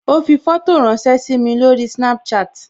Ó fi fótò ránsẹ́ sími lórí Snapchat